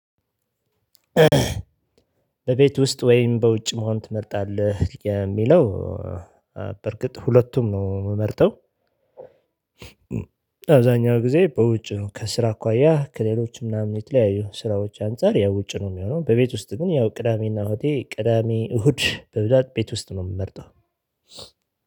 በቤት ውስጥ ወይም በውጭ መሆን ትመርጣለህ የሚለው? በርግጥ ሁለቱም ነው የምመርጠው። አብዛኛው ጊዜ በውጭ ከስራ አኳያ ከሌሎችም ምናምን የተለያዩ ስራዎች አንፃር ያው ውጪ ነው የምሆነው። በቤት ውስጥ ግን ያው ቅዳሜና እሁዴ ቅዳሜ እሁድ በብዛት ቤት ውስጥ ነው የምመርጠው።